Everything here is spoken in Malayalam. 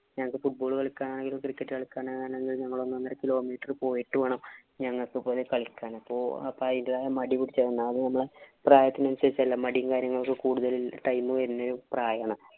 ഞങ്ങള്‍ക്ക് football കളിക്കനായാലും, cricket കളിക്കാനായാലും ഞങ്ങള് ഒന്നൊന്നര kilometer പോയിട്ട് വേണം ഞങ്ങള്‍ക്ക് ഇതുപോലെ കളിക്കാനൊക്കെ. അപ്പൊ അതിന്‍റേതായ മടിപിടിച്ച് പ്രായത്തിനനുസരിച്ച് അല്ലേ. മടീം കാര്യങ്ങളും ഒക്കെ കൂടുതല് time വരുന്ന പ്രായമാണ്.